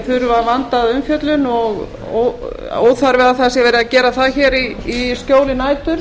þurfa vandaða umfjöllun og óþarfi að það sé verið að gera það hér í skjóli nætur